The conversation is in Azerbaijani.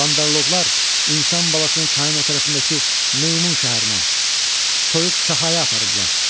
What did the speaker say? Bandarloqlar insan balasını çayın o tərəfindəki Meymun şəhərinə, Soyuq kahaya aparıblar.